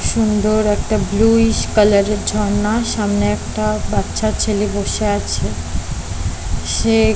সুন্দর একটা ব্লুইস কালারের ঝর্ণা সামনে একটা বাচ্চা ছেলে বসে আছে সে--